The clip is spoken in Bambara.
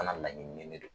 Fana laɲini ne don